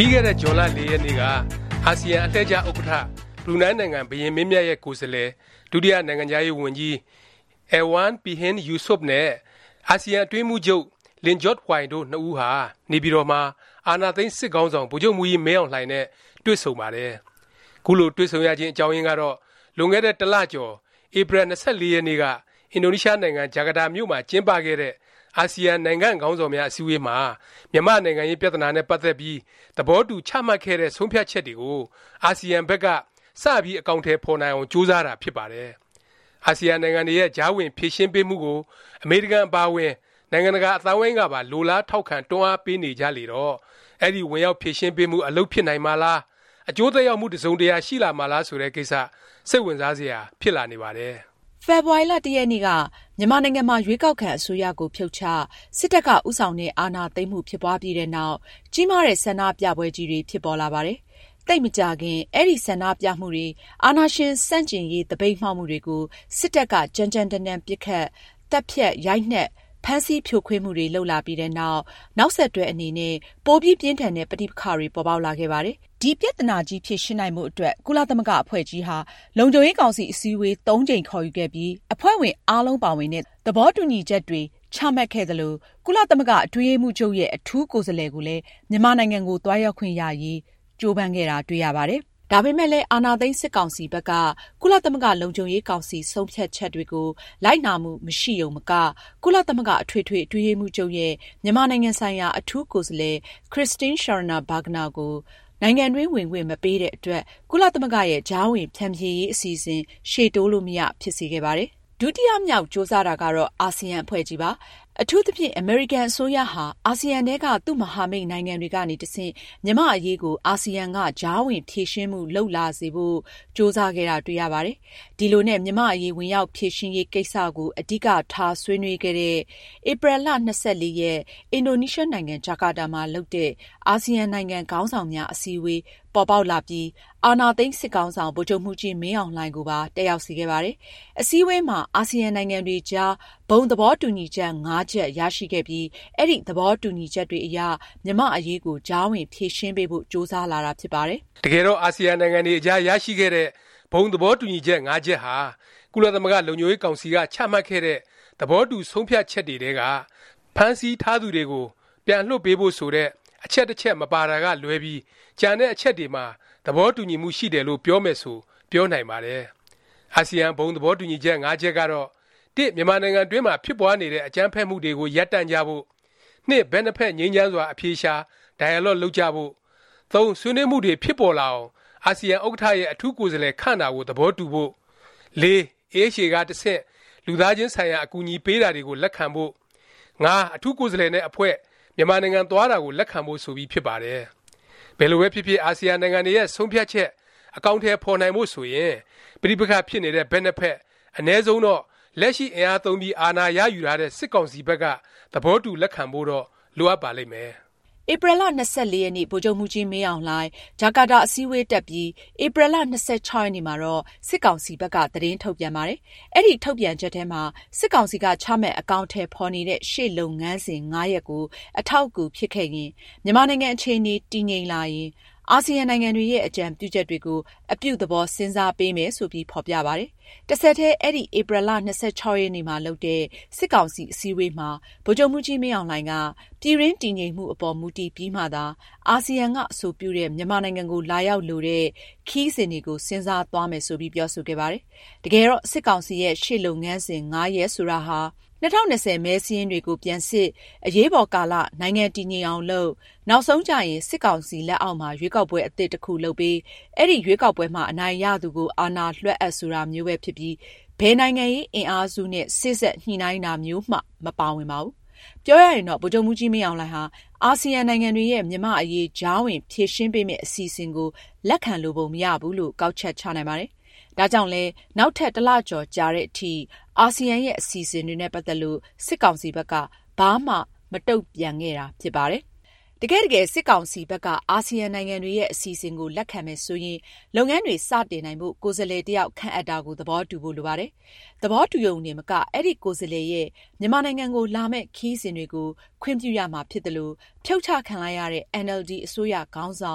ပြီးခဲ့တဲ့ ဇွန်လ ၄ ရက်နေ့က အာဆီယံ အလှည့်ကျ ဥက္ကဌ ဘရူနိုင်းနိုင်ငံ ဘုရင်မင်းမြတ်ရဲ့ ကိုယ်စားလှယ် ဒုတိယ နိုင်ငံခြားရေးဝန်ကြီး Erywan Pehin Yusof နဲ့ အာဆီယံအတွင်းရေးမှုးချုပ် Lim Jock Hoi တို့ ၂ ဦးဟာ နေပြည်တော်မှာ အာဏာသိမ်း စစ်ခေါင်းဆောင် ဗိုလ်ချုပ်မှူးကြီး မင်းအောင်လှိုင်နဲ့ တွေ့ဆုံပါတယ်။ ခုလို တွေ့ဆုံရခြင်း အကြောင်းရင်းကတော့ လွန်ခဲ့တဲ့ တစ်လ ကျော် ဧပြီ ၂၄ ရက်နေ့က အင်ဒိုနီးရှားနိုင်ငံ ဂျာကာတာမြို့မှာ ကျင်းပခဲ့တဲ့ အာဆီယံ နိုင်ငံ့ခေါင်းဆောင်များ အစည်းအဝေးမှာ မြန်မာ့နိုင်ငံရေး ပြသနာနဲ့ ပတ်သက်ပြီး သဘောတူ ချမှတ်ခဲ့တဲ့ ဆုံးဖြတ်ချက်တွေကို အာဆီယံဘက်က စပြီး အကောင်အထည် ဖော်နိုင်အောင် ကြိုးစားတာ ဖြစ်ပါတယ်။ အာဆီယံနိုင်ငံတွေရဲ့ ကြားဝင် ဖြေရှင်းပေးမှုကို အမေရိကန် အပါအဝင် နိုင်ငံတကာ အသိုင်းအဝိုင်းကပါ လိုလား ထောက်ခံ၊ တွန်းအားပေးနေကြလေတော့ အဲဒီ ဝင်ရောက် ဖြေရှင်းပေးမှု အလုပ်ဖြစ်နိုင်မှာလား၊ အကျိုးသက်ရောက်မှု တစ်စုံတရာ ရှိလာမှာလား ဆိုတဲ့ ကိစ္စ စိတ်ဝင်စားစရာ ဖြစ်လာနေပါတယ်။ ဖေဖေါ်ဝါရီ ၁ ရက်နေ့က မြန်မာနိုင်ငံမှာ ရွေးကောက်ခံ အစိုးရကို ဖြုတ်ချ၊ စစ်တပ်က ဦးဆောင်တဲ့ အာဏာသိမ်းမှု ဖြစ်ပွားပြီးနောက် ကြီးမားတဲ့ ဆန္ဒပြပွဲကြီးတွေ ဖြစ်ပေါ်လာပါတယ်။ သိပ်မကြာခင် အဲဒီ ဆန္ဒပြမှုတွေ၊ အာဏာရှင် ဆန့်ကျင်ရေး သပိတ်မှောက်မှုတွေကို စစ်တပ်က ကြမ်းကြမ်းတမ်းတမ်း ပစ်ခတ်၊ သတ်ဖြတ်၊ ရိုက်နှက်၊ ဖမ်းဆီး ဖြိုခွင်းမှုတွေ လုပ်လာပြီးနောက် နောက်ဆက်တွဲအနေနဲ့ ပိုပြီး ပြင်းထန်တဲ့ ပဋိပက္ခတွေ ပေါ်ပေါက်လာခဲ့ပါတယ်။ ဒီပြသနာကြီး ဖြေရှင်းနိုင်ဖို့ အတွက် ကုလသမဂ္ဂ အဖွဲ့ကြီးဟာ လုံခြုံရေးကောင်စီ အစည်းအဝေး ၃ ကြိမ် ခေါ်ယူခဲ့ပြီး အဖွဲ့ဝင် အားလုံးပါဝင်တဲ့ သဘောတူညီချက်တွေ ချမှတ်ခဲ့သလို ကုလသမဂ္ဂအတွင်းရေးမှူးချုပ် အထူးကိုယ်စားလှယ် ကိုလည်း မြန်မာနိုင်ငံကိုသွားရောက်ခွင့်ရရေး ကြိုးပမ်းခဲ့တာ တွေ့ရပါတယ်။ ဒါပေမယ့်လည်း အာဏာသိမ်း စစ်ကောင်စီဘက်က ကုလသမဂ္ဂ လုံခြုံရေးကောင်စီ ဆုံးဖြတ်ချက်တွေကို လိုက်နာမှု မရှိရုံမက၊ ကုလသမဂ္ဂ အထွေထွေ အတွင်းရေးမှုးချုပ်ရဲ့ မြန်မာနိုင်ငံဆိုင်ရာ အထူးကိုယ်စားလှယ် Christine Schraner Burgenerကို နိုင်ငံတွင်း ဝင်ခွင့် မပေးတဲ့အတွက် ကုလသမဂ္ဂရဲ့ ကြားဝင် ဖြန်ဖြေရေး အစီအစဉ် ရှေ့တိုးလို့မရ ဖြစ်စေခဲ့ပါတယ်။ ဒုတိယမြောက် ကြိုးစားတာကတော့ အာဆီယံ အဖွဲ့ကြီးပါ။ အထူးသဖြင့် အမေရိကန်နိုင်ငံ အစိုးရဟာ အဆီယံထဲက သူ့မဟာမိတ်နိုင်ငံတွေကနေ တဆင့် မြန်မာ့အရေးကို အာဆီယံက ကြားဝင် ဖြေရှင်းမှု လုပ်လာစေဖို့ ကြိုးစားခဲ့တာ တွေ့ရပါတယ်။ ဒီလိုနဲ့ မြန်မာ့အရေး ဝင်ရောက်ဖြေရှင်းရေး ကိစ္စကို အဓိကထား ဆွေးနွေးတဲ့ ဧပြီ ၂၄ ရက်၊ အင်ဒိုနီးရှားနိုင်ငံ ဂျာကာတာမှာ လုပ်တဲ့ အာဆီယံနိုင်ငံ ခေါင်းဆောင်များ အထူးအစည်းအဝေး ပေါ်ပေါက်လာပြီး အာဏာသိမ်း စစ်ခေါင်းဆောင် ဗိုလ်ချုပ်မှူးကြီး မင်းအောင်လှိုင်ကိုပါ တက်ရောက်စေခဲ့ပါတယ်။ အစည်းအဝေးမှာ အာဆီယံ နိုင်ငံတွေအကြား ဘုံ သဘောတူညီချက်(၅) ချက် ရရှိခဲ့ပြီး အဲဒီ သဘောတူညီချက်တွေအရ မြန်မာ့အရေးကို ကြားဝင် ဖြေရှင်းပေးဖို့ ကြိုးစားလာတာ ဖြစ်ပါတယ်။ တကယ်တော့ အာဆီယံနိုင်ငံတွေအကြား ရရှိခဲ့တဲ့ ဘုံသဘောတူညီချက် ၅ ချက်ဟာ ကုလသမဂ္ဂ လုံခြုံရေးကောင်စီက ချမှတ်ခဲ့တဲ့ သဘောတူ ဆုံးဖြတ်ချက်တွေထဲက ဖမ်းဆီးထားသူတွေကို ပြန်လွှတ်ပေးဖို့ ဆိုတဲ့ အချက် တစ်ချက် မပါတာကလွဲပြီး ကျန်တဲ့ အချက်တွေမှာ တူညီမှုရှိတယ်လို့ ပြောမယ်ဆို ပြောနိုင်ပါတယ်။ အာဆီယံ ဘုံသဘောတူညီချက် ၅ ချက်ကတော့ (၁) မြန်မာနိုင်ငံတွင်းမှာ ဖြစ်ပွားနေတဲ့ အကြမ်းဖက်မှုတွေကို ရပ်တန့်ကြဖို့ (၂) ဘက်နှစ်ဖက် ငြိမ်းချမ်းစွာ အဖြေရှာ၊ dialogue လုပ်ကြဖို့ (၃) ဆွေးနွေးမှုတွေ ဖြစ်ပေါ်လာအောင် အာဆီယံ ဥက္ကဌရဲ့ အထူးကိုယ်စားလှယ် ခန့်တာကို သဘောတူဖို့ (၄) AHA က တဆင့် လူသားချင်းဆိုင်ရာ အကူအညီ ပေးတာတွေကို လက်ခံဖို့ (၅) အထူးကိုယ်စားလှယ်နဲ့ အဖွဲ့ မြန်မာနိုင်ငံ သွားတာကို လက်ခံဖို့ ဆိုပြီးဖြစ်ပါတယ်။ ဘယ်လိုပဲဖြစ်ဖြစ် အာဆီယံနိုင်ငံတွေရဲ့ ဆုံးဖြတ်ချက် အကောင်အထည် ဖော်နိုင်ဖို့ ဆိုရင် ပဋိပက္ခ ဖြစ်နေတဲ့ ဘက်နှစ်ဖက်၊ အနည်းဆုံးတော့ လက်ရှိ အင်အားသုံးပြီး အာဏာရယူထားတဲ့ စစ်ကောင်စီဘက်က သဘောတူ လက်ခံဖို့တော့ လိုအပ်ပါလိမ့်မယ်။ ဧပြီလ ၂၄ ရက်၊ ဗိုလ်ချုပ်မှူးကြီး မင်းအောင်လှိုင် ဂျာကာတာ အစည်းအဝေးတက်ပြီး ဧပြီလ ၂၆ ရက်နေ့မှာတော့ စစ်ကောင်စီဘက်က သတင်းထုတ်ပြန်ပါတယ်။ အဲဒီ ထုတ်ပြန်ချက်ထဲမှာ စစ်ကောင်စီက ချမှတ် အကောင်အထည်ဖော်နေတဲ့ ရှေ့လုပ်ငန်းစဉ် ၅ ရပ်ကို အထောက်အကူဖြစ်ခဲ့ရင်၊ မြန်မာနိုင်ငံ အခြေအနေ တည်ငြိမ်လာရင် အာဆီယံနိုင်ငံတွေရဲ့ အကြံပြုချက်တွေကို “ အပြုသဘော စဉ်းစားပေးမယ်” ဆိုပြီး ဖော်ပြပါတယ်။ တဆက်တည်း အဲဒီ ဧပြီလ ၂၆ ရက်နေ့မှာလုပ်တဲ့ စစ်ကောင်စီ အစည်းအဝေးမှာ ဗိုလ်ချုပ်မှူးကြီး မင်းအောင်လှိုင်က ပြည်တွင်း တည်ငြိမ်မှုအပေါ် မူတည်ပြီးမှသာ အာဆီယံက အဆိုပြုတဲ့ မြန်မာနိုင်ငံကို လာရောက်လိုတဲ့ ခရီးစဉ်တွေကို စဉ်းစားသွားမယ် ဆိုပြီး ပြောဆိုခဲ့ပါတယ်။ တကယ်တော့ စစ်ကောင်စီရဲ့ ရှေ့လုပ်ငန်းစဉ် ၅ ရပ် ဆိုတာဟာ ၂၀၂၀ မဲစာရင်းတွေကို ပြန်စစ်၊ အရေးပေါ်ကာလ နိုင်ငံ တည်ငြိမ်အောင်လုပ်၊ နောက်ဆုံးကျရင် စစ်ကောင်စီ လက်အောက်မှာ ရွေးကောက်ပွဲ အသစ် တစ်ခု လုပ်ပေး၊ အဲဒီ ရွေးကောက်ပွဲမှာ အနိုင်ရသူကို အာဏာလွဲှအပ် ဆိုတာမျိုးပဲ ဖြစ်ပြီး ဘယ်နိုင်ငံရေး အင်အားစုနဲ့ စေ့စပ်ညှိနှိုင်းတာမျိုးမှ မပါဝင်ပါဘူး။ ပြောရရင်တော့ ဗိုလ်ချုပ်မှူးကြီး မင်းအောင်လှိုင်ဟာ အာဆီယံ နိုင်ငံတွေရဲ့ မြန်မာ့အရေး ကြားဝင် ဖြေရှင်းပေးမယ့် အစီအစဉ်ကို လက်ခံလိုပုံမရဘူးလို့ ကောက်ချက်ချနိုင်ပါတယ်။ ဒါကြောင့်လည်း နောက်ထပ် တစ်လကျော် ကြာသည်အထိ အာဆီယံရဲ့ အစီအစဉ်တွေနဲ့ ပတ်သက်ပြီး စစ်ကောင်စီဘက်က ဘာမှ မတုန့်ပြန်ခဲ့တာ ဖြစ်ပါတယ်။ တကယ့်တကယ် စစ်ကောင်စီဘက်က အာဆီယံနိုင်ငံတွေရဲ့ အစီအစဉ်ကို လက်ခံမယ် ဆိုရင် လုပ်ငန်းတွေ စတင်နိုင်ဖို့ ကိုယ်စားလှယ် တစ်ယောက် ခန့်အပ်တာကို သဘောတူဖို့ လိုပါတယ်။ သဘောတူရုံတင်မက အဲဒီ ကိုယ်စားလှယ်ရဲ့ မြန်မာနိုင်ငံကိုလာမယ့် ခရီးစဉ်တွေကို ခွင့်ပြုရမှာဖြစ်သလို၊ ဖြုတ်ချခံလိုက်ရတဲ့ အင်န်အယ်လ်ဒီ အစိုးရခေါင်းဆော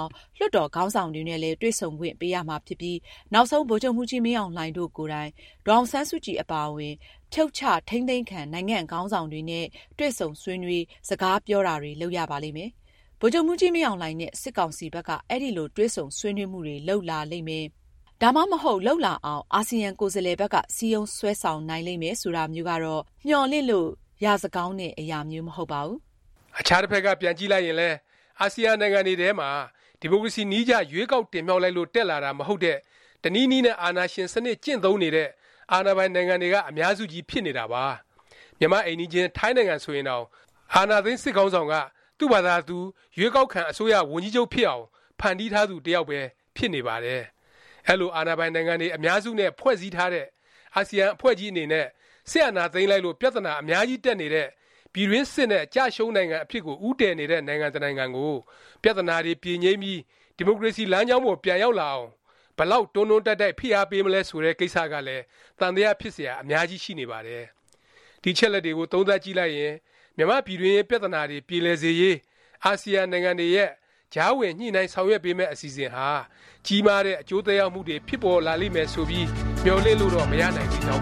င်၊ လွှတ်တော် ခေါင်းဆောင်တွေနဲ့လည်း တွေ့ဆုံခွင့် ပေးရမှာဖြစ်ပြီး၊ နောက်ဆုံး ဗိုလ်ချုပ်မှူးကြီး မင်းအောင်လှိုင်တို့ကိုယ်တိုင် ဒေါ်အောင်ဆန်းစုကြည် အပါအဝင် ဖြုတ်ချ၊ ထိန်းသိမ်းခံ နိုင်ငံ့ခေါင်းဆောင်တွေနဲ့ တွေ့ဆုံဆွေးနွေး၊ စကားပြောတာတွေ လုပ်ရပါလိမ့်မယ်။ ဗိုလ်ချုပ်မှူးကြီး မင်းအောင်လှိုင်နဲ့ စစ်ကောင်စီဘက်က အဲလို တွေ့ဆုံဆွေးနွေး မှုတွေ လုပ်လာလိမ့်မယ်၊ ဒါမှမဟုတ် လုပ်လာအောင် အာဆီယံ ကိုယ်စားလှယ်ဘက်က စည်းရုံးဆွဲဆောင်နိုင်လိမ့်မယ် ဆိုတာမျိုးကတော့ မျှော်လင့်လို့ ရစကောင်းတဲ့ အရာမျိုး မဟုတ်ပါဘူး။ အခြားတစ်ဖက်က ပြန်ကြည့်လိုက်ရင်လည်း အာဆီယံနိုင်ငံတွေထဲမှာ ဒီမိုကရေစီနည်းကျ ရွေးကောက်တင်မြှောက်လို့ တက်လာတာ မဟုတ်တဲ့ တနည်းနည်းနဲ့ အာဏာရှင် စနစ် ကျင့်သုံးနေတဲ့ အာဏာပိုင်နိုင်ငံတွေက အများစုကြီး ဖြစ်နေတာပါ။ မြန်မာ့ အိမ်နီးချင်း ထိုင်းနိုင်ငံဆိုရင်တောင် အာဏာသိမ်း စစ်ခေါင်းဆောင်က သူ့ဖာသာသူ ရွေးကောက်ခံ အစိုးရ ဝန်ကြီးချုပ်ဖြစ်အောင် ဖန်တီးထားသူ တစ်ယောက်ပဲ ဖြစ်နေပါတယ်။ အဲလို အာဏာပိုင်နိုင်ငံတွေ အများစုနဲ့ ဖွဲ့စည်းထားတဲ့ အာဆီယံ အဖွဲ့ကြီးအနေနဲ့ စစ်အာဏာသိမ်းလိုက်လို့ ပြသနာ အများကြီးတက်နေတဲ့၊ ပြည်တွင်းစစ်နဲ့ ကျရှုံးနိုင်ငံ အဖြစ်ကို ဦးတည်နေတဲ့ နိုင်ငံတစ်နိုင်ငံကို ပြသနာတွေ ပြေငြိမ်းပြီး ဒီမိုကရေစီ လမ်းကြောင်းပေါ် ပြန်ရောက်လာအောင် ဘယ်လောက် တွန်းတွန်းတိုက်တိုက် ဖိအားပေးမလဲ ဆိုတဲ့ ကိစ္စကလည်း သံသယ ဖြစ်စရာ အများကြီးရှိနေပါတယ်။ ဒီအချက်အလက်တွေကို သုံးသပ်ကြည့်လိုက်ရင် မြန်မာ့ပြည်တွင်းရေး ပြသနာတွေ ပြေလည်စေရေး အာဆီယံနိုင်ငံတွေရဲ့ ကြားဝင် ညှိနှိုင်း ဆောင်ရွက်ပေးမယ့် အစီအစဉ်ဟာ ကြီးမားတဲ့ အကျိုးသက်ရောက်မှုတွေ ဖြစ်ပေါ်လာလိမ့်မယ်ဆိုပြီး မျှော်လင့်လို့တော့ မရနိုင်သေးကြော